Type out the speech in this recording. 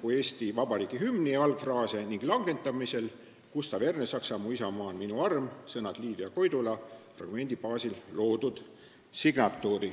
kui Eesti Vabariigi hümni algfraase ning langetamisel Gustav Ernesaksa "Mu isamaa on minu arm" fragmendi baasil loodud signatuuri.